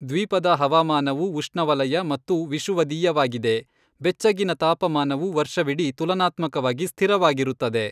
ದ್ವೀಪದ ಹವಾಮಾನವು ಉಷ್ಣವಲಯ ಮತ್ತು ವಿಷುವದೀಯವಾಗಿದೆ, ಬೆಚ್ಚಗಿನ ತಾಪಮಾನವು ವರ್ಷವಿಡೀ ತುಲನಾತ್ಮಕವಾಗಿ ಸ್ಥಿರವಾಗಿರುತ್ತದೆ.